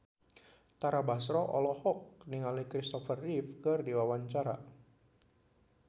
Tara Basro olohok ningali Kristopher Reeve keur diwawancara